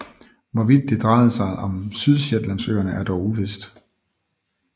Hvorvidt det drejede sig om Sydshetlandsøerne er dog uvist